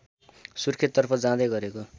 सुर्खेततर्फ जाँदै गरेको